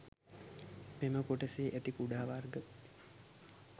මෙම කොටසේ ඇති කුඩා වර්ග